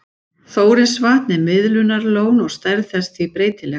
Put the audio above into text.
Þórisvatn er miðlunarlón og stærð þess því breytileg.